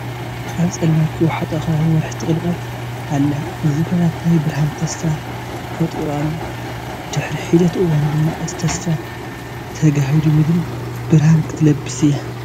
ኣብ ፀልማት ዝወሓጦ ከባቢ ወርሒ ትቕልቀል ኣላ፡፡ እዚ ኩነት ናይ ብርሃን ተስፋ ፈጠሩ ኣሎ፡፡ ድሕሪ ሒደት እዋን ድማ እቲ ተስፋ ተጋሂዱ ምድሪ ብርሃን ክትለብስ እያ፡፡